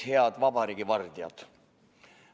Head vabariigi vardjad.